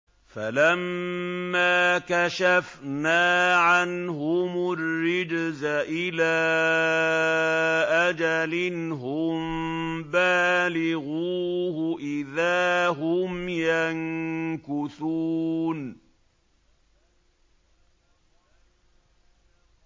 فَلَمَّا كَشَفْنَا عَنْهُمُ الرِّجْزَ إِلَىٰ أَجَلٍ هُم بَالِغُوهُ إِذَا هُمْ يَنكُثُونَ